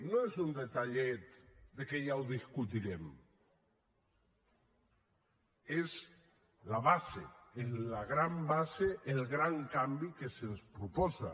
no és un detallet que ja ho discutirem és la base és la gran base el gran canvi que se’ns proposa